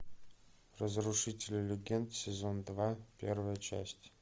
разрушители легенд сезон два первая часть